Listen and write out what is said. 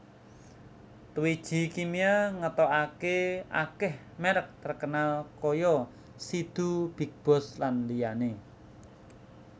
Twiji Kimia ngetoake akeh merk terkenal koyo Sidu BigBoss lan liyane